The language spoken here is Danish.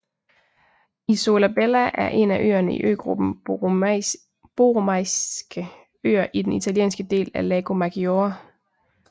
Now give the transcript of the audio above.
Isola Bella er en af øerne i øgruppen Borromeiske Øer i den italienske del af Lago Maggiore